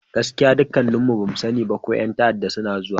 Gaskiya! dukkanmu ba mu sani ba ko yan ta'arda suna zuwa.